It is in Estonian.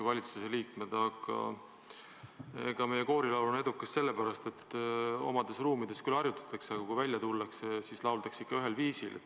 Aga meie koorilaul on edukas sellepärast, et omades ruumides küll harjutatakse, aga kui välja tullakse, siis lauldakse ikka ühel viisil.